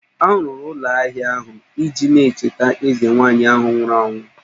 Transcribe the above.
A rụrụ ụlọ ahia ahụ iji na-echeta eze nwaanyị ahụ nwụrụ anwụ